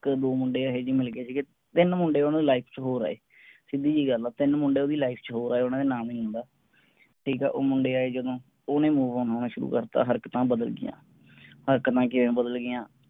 ਇਕ ਦੋ ਮੁੰਡੇ ਇਹੋ ਜਿਹੇ ਮਿਲ ਗਏ ਸੀਗੇ ਤਿੰਨ ਮੁੰਡੇ ਓਹਨਾ ਦੇ life ਚ ਹੋਰ ਆਏ। ਸਿੱਧੀ ਜੀ ਗੱਲ ਆ ਤਿੰਨ ਮੁੰਡੇ ਓਹਦੀ life ਚ ਹੋਰ ਆਏ ਉਹਨਾਂ ਦਾ ਨਾਮ ਨੀ ਲੈਂਦਾ। ਠੀਕ ਐ ਉਹ ਮੁੰਡੇ ਆਏ ਜਦੋਂ ਓਹਨੇ move on ਹੋਣਾ ਸ਼ੁਰੂ ਕਰਤਾ ਹਰਕਤਾਂ ਬਦਲ ਗਈਆਂ। ਹਰਕਤਾਂ ਕਿਵੇਂ ਬਦਲ ਗਈਆਂ?